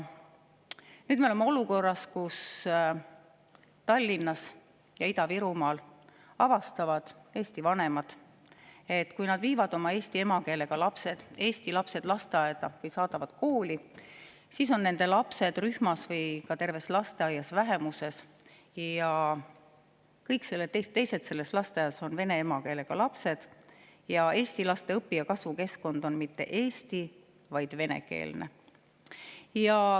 Me oleme jõudnud olukorda, kus eesti vanemad Tallinnas ja Ida-Virumaal avastavad, et kui nad viivad oma eesti emakeelega lapsed, eesti lapsed lasteaeda või saadavad kooli, siis on nende lapsed rühmas või terve lasteaia peale vähemuses, kõik teised lapsed on vene emakeelega ning eesti laste õpi‑ ja kasvukeskkond ei ole mitte eesti‑, vaid venekeelne.